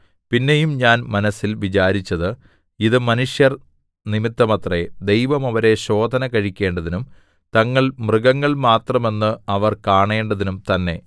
പിന്നെയും ഞാൻ മനസ്സിൽ വിചാരിച്ചത് ഇത് മനുഷ്യർ നിമിത്തമത്രേ ദൈവം അവരെ ശോധനകഴിക്കേണ്ടതിനും തങ്ങൾ മൃഗങ്ങൾ മാത്രം എന്ന് അവർ കാണേണ്ടതിനും തന്നെ